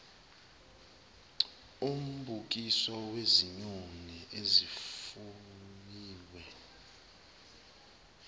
umbukiso wezinyoni ezifuyiwe